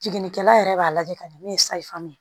Jiginikɛla yɛrɛ b'a lajɛ ka ɲɛ min ye